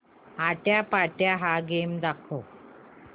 आट्यापाट्या हा गेम दाखव